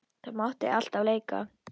Þar mátti alltaf leika.